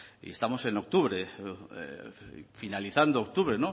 y estamos en octubre finalizando octubre